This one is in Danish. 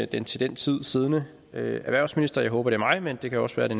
den til den tid siddende erhvervsminister jeg håber er mig men det kan også være det